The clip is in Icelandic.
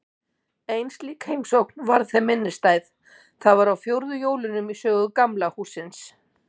Ein slík heimsókn varð þeim minnisstæð: Það var á fjórðu jólunum í sögu Gamla hússins.